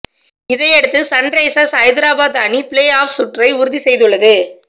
இதையடுத்து சன்ரைசர்ஸ் ஐதராபாத் அணி play offs சுற்றை உறுதி செய்துள்ளது